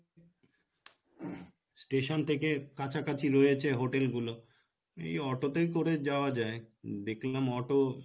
station থেকে কাছাকাছি রয়েছে hotel গুলো এই auto তে করেই যাওয়া যাই দেখলাম auto